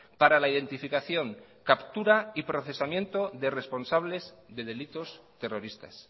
para la identificación captura y procesamiento de responsables de delitos terroristas